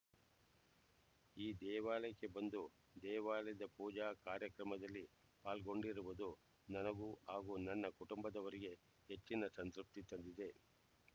ಈ ದೇವಾಲಯಕ್ಕೆ ಬಂದು ದೇವಾಲಯದ ಪೂಜಾ ಕಾರ್ಯಕ್ರಮದಲ್ಲಿ ಪಾಲ್ಗೊಂಡಿರುವುದು ನನಗೂ ಹಾಗೂ ನನ್ನ ಕುಟುಂಬದವರಿಗೆ ಹೆಚ್ಚಿನ ಸಂತೃಪ್ತಿ ತಂದಿದೆ